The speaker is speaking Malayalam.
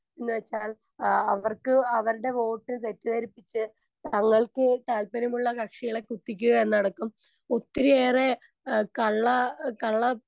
സ്പീക്കർ 1 ന്ന് വെച്ചാൽ ആഹ് അവർക്ക് അവർടെ വോട്ട് തെറ്റിദ്ധരിപ്പിച്ച് തങ്ങൾക്ക് താല്പര്യമുള്ള കക്ഷികളെ കുത്തിക്കുക എന്നതടക്കം ഒത്തിരിയേറെ ഏഹ് കള്ള കള്ള